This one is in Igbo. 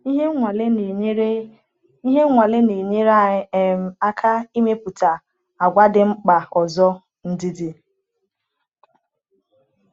Ihe nwale na-enyere Ihe nwale na-enyere anyị um aka ịmepụta àgwà dị mkpa ọzọ-ndidi.